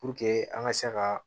Puruke an ka se ka